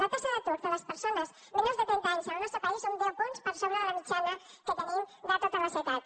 la taxa d’atur de les persones menors de trenta anys al nostre país són deu punts per sobre de la mitjana que tenim de totes les edats